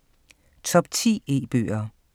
Top 10 E-bøger